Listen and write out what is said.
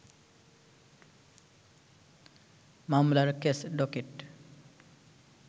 মামলার case docket